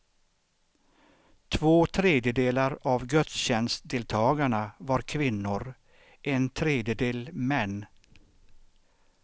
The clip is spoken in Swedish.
Två tredjedelar av gudstjänstdeltagarna var kvinnor, en tredjedel män.